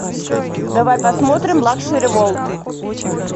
давай посмотрим лакшери ворлд